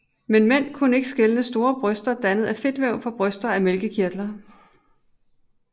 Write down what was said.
Men mænd kunne ikke skelne store bryster dannet af fedtvæv fra bryster af mælkekirtler